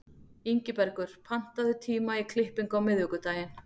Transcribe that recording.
Ingibergur, pantaðu tíma í klippingu á miðvikudaginn.